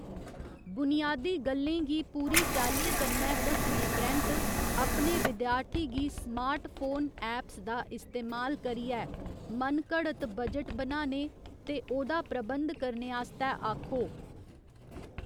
बुनियादी गल्लें गी पूरी चालीं कन्नै दस्सने परैंत्त, अपने विद्यार्थी गी स्मार्टफोन ऐप्स दा इस्तेमाल करियै मनघड़त बजट बनाने ते ओह्दा प्रबंध करने आस्तै आक्खो।